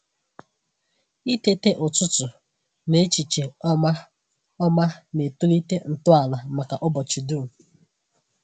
Itete ụtụtụ na echiche ọma ọma na-etolite ntọala maka ụbọchị dum.